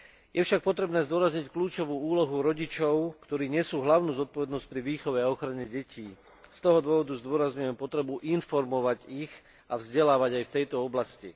Je však potrebné zdôrazniť kľúčovú úlohu rodičov, ktorí nesú hlavnú zodpovednosť pri výchove a ochrane detí z toho dôvodu zdôrazňujem potrebu informovať ich a vzdelávať aj v tejto oblasti.